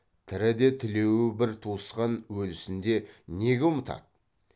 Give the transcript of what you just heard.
тіріде тілеуі бір туысқан өлісінде неге ұмытады